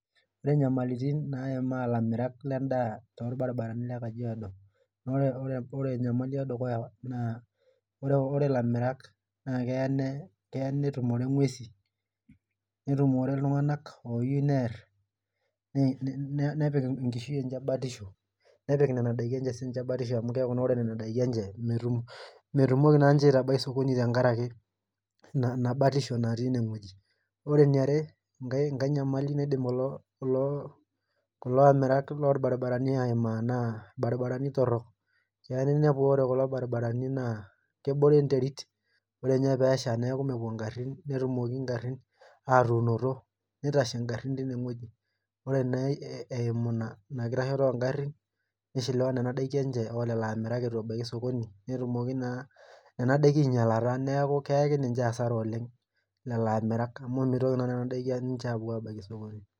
Ore nyamalitin naimaa ilamirak ledaa tolbaribarani le kajiado, ore enyamali edukuya naa ore ilamirak keya netumore nguesin netumore iltunganak oyieu neer. nepik enkishui enye batisho, nepik Nena daikin enye .batisho amu keeku ore nena diaki enye, metumoki naa ninche aitabai sokoni tenkaraki, Ina batisho natii ine wueji. ore eniare, enkae nyamali naidim kulo amirak loolbaribarani aimaa naa ilbarinarani torok. keya ninepu ore kulo baribarani naa kebore enterit ,ore ninye peesha neeku mepuo garin netumoki garin aatunoto. ore naa eimu Ina nishiliwa Nena daikin ilamirak eitu ebae sokoni, netumoki naa Nena daikin aingilata neeku keyaki ninche asara oleng. lelo akitaka mitoki Nena diaki aapuo aabaiki sokoni.